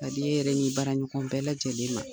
Ka di e yɛrɛ n'i baarakɛɲɔgɔnw bɛɛ lajɛlen ma.